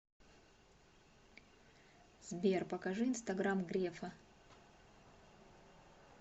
сбер покажи инстаграм грефа